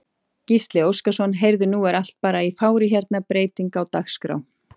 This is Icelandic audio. Gísli Óskarsson: Heyrðu nú er allt bara í fári hérna, breyting á dagskrá?